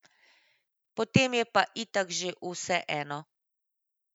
Potem je pa itak že vseeno.